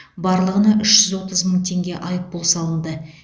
барлығына үш жүз отыз мың теңге айыппұл салынды